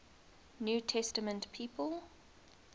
new testament people